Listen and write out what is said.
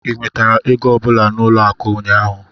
ị nwetara ego ọ bụla n'ụlọ akụ ụnyaahụ?